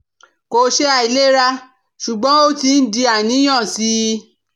Kò ṣe àìlera, ṣùgbọ́n ó ti ń di àníyàn sí i